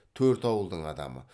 төрт ауылдың адамы